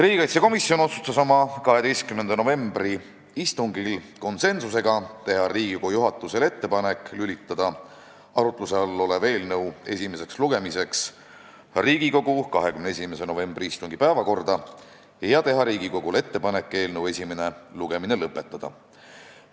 Riigikaitsekomisjon otsustas oma 12. novembri istungil konsensusega teha Riigikogu juhatusele ettepaneku lülitada arutluse all olev eelnõu esimeseks lugemiseks Riigikogu 21. novembri istungi päevakorda ja teha Riigikogule ettepaneku eelnõu esimene lugemine lõpetada.